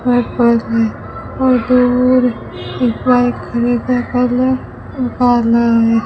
White bulb हैं बहुत दूर एक बाइक खड़ हैं।